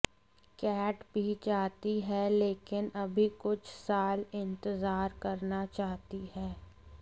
cat भी चाहती है लेकिन अभी कुछ साल इंतजार करना चाहती है